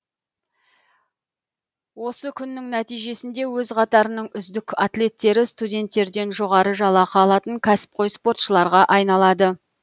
осы күннің нәтижесінде өз қатарының үздік атлеттері студенттерден жоғары жалақы алатын кәсіпқой спортшыларға айналады